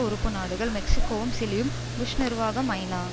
உறுப்பு நாடுகள் மெக்ஸிக்கோவும் சிலியும் புஷ் நிர்வாகம் ஐநா